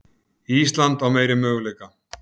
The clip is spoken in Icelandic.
Ísland á meiri möguleika